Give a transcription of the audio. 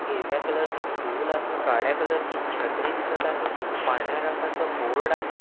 हिरव्या कलर ची स्टूल आहे काळ्या कलरची छत्री दिसत आहे एक पांढऱ्या रंगाचं बोर्ड आहे.